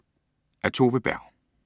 Af Tove Berg